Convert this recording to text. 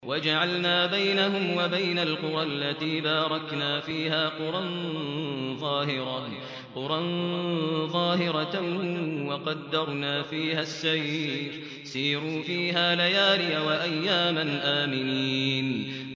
وَجَعَلْنَا بَيْنَهُمْ وَبَيْنَ الْقُرَى الَّتِي بَارَكْنَا فِيهَا قُرًى ظَاهِرَةً وَقَدَّرْنَا فِيهَا السَّيْرَ ۖ سِيرُوا فِيهَا لَيَالِيَ وَأَيَّامًا آمِنِينَ